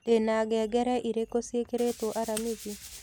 ndĩna ngengere irĩku cĩĩkĩrĩtwo aramĩthĩ